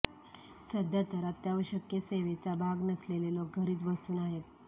सध्या तर अत्यावश्यक सेवेचा भाग नसलेले लोक घरीच बसून आहेत